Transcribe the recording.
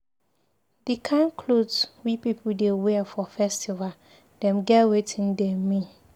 Di kind cloth we pipu dey wear for festival dem get wetin dem mean.